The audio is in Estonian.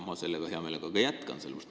Ma ka heameelega jätkan sellega.